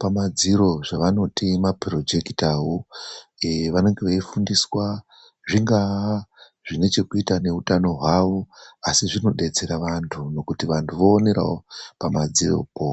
pamadziro zvavanoti maporojekitawo vanenge veifundiswa zvingaa zvinechekuita nezvehutano hwavo asi zvinodetsera vantu. Vantu voonerawo pamadziropo.